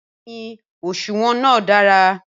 Bẹẹni òṣùwọ̀n náà dára.